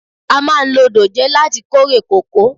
A máa lo dòjé láti kórè kòkó.